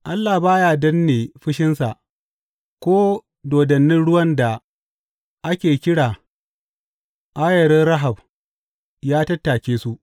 Allah ba ya danne fushinsa; ko dodannin ruwan da ake kira ayarin Rahab ya tattake su.